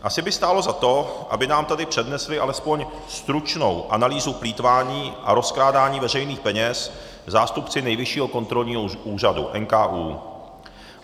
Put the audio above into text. Asi by stálo za to, aby nám tady přednesli alespoň stručnou analýzu plýtvání a rozkrádání veřejných peněz zástupci Nejvyššího kontrolního úřadu, NKÚ.